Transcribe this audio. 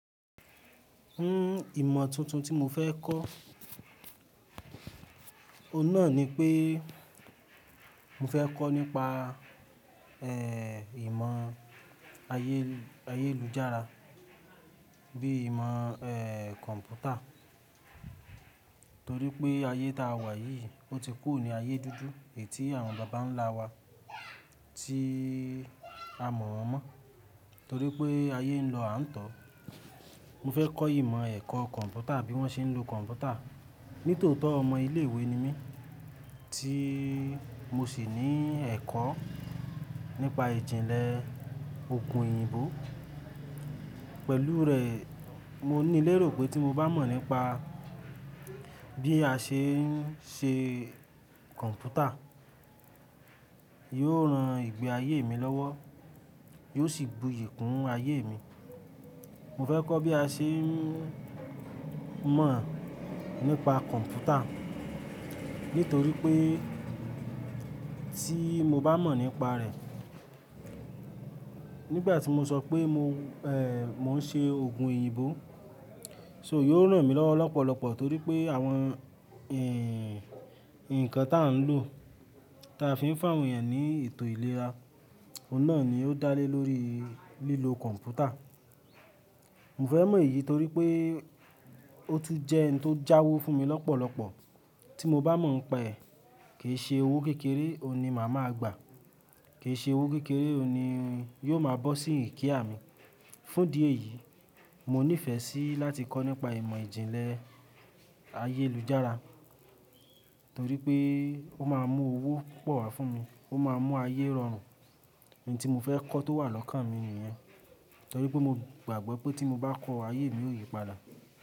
Hmm ìmọ̀ tuntun tí mo fẹ́ kọ́, ọ̀nà ni pé mo fẹ́ kọ́ nípa, eh ìmọ̀ ayé-ayélujára bíi ìmọ̀ eh kọ̀ǹpútà torí pé ayé tá a wà yìí, ó ti kù ní ayé dúdú è tí àwọn bàbá ń lá wa tí a mọ̀ wọ́n mọ́. Torí pé ayé ń lọ àǹtọ́. Mo fẹ́ kọ́ ìmọ̀ ẹ̀kọ́ kọ̀ǹpútà bí wón ṣe ń lo kọ̀ǹpútà. Nítòótó ọmọ ilé ìwé ni mí tí mo sì ní ẹ̀kọ́ nípa ìjìnlẹ̀ òògùn òyìnbó. Pẹ̀lú rẹ̀, mo ní lérò pé tí mo bá mọ̀ nípa bí a ṣe ń ṣe kọ̀ǹpútà, yóò ran ìgbé ayé mi lọ́wọ́, yóò sì bu yiì kún ayé mi. Mo fẹ́ kọ́ bí a ṣe ń mọ̀ nípa kọ̀ǹpútà nítorí pé tí mo bá mọ̀ nípa rẹ̀, nígbà tí mo sọ pé mo eh mo ń ṣe òògùn òyìnbó, so yóò ràn mí lọ́wọ́ lọ́pọ̀lọpọ̀ torí pé àwọn nǹkan tá a ń lò, ta fi ń fá òun yẹn ní ètò iléra, oun nà ni ó dá lé lórí lílo kọ̀ǹpútà. Mo fẹ́ mọ èyí torí pé ó tún jẹ́ ohun tó jáwọ́ fún mi lọ́pọ̀lọpọ̀. Tí mo bá mọ̀ pé è, kì í ṣe owó kékeré, òun ni màá máa gbà. Kì í ṣe owó kékeré, òun ni yóò máa bọ́ sí ninu care à mi. Fún idi e yìí, mo nífẹ̀ẹ́ sí láti kọ́ nípa ìmọ̀ ìjìnlẹ̀ ayélujára torí pé ó máa mú owó púpọ̀ wá fún mi, ó máa mú ayé rọrùn. Ohun tí mo fẹ́ kọ́ tó wà lọ́kàn mi nìyẹn torí pé mo gbàgbọ́ pé tí mo bá kọ́ ayé mi ó yí padà.